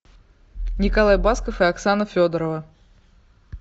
николай басков и оксана федорова